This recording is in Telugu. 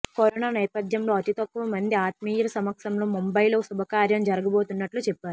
కరోనా నేపథ్యంలో అతి తక్కువ మంది ఆత్మీయుల సమక్షంలో ముంబయిలో శుభకార్యం జరగబోతున్నట్లు చెప్పారు